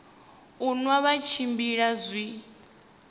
u nwa vha tshimbila zwi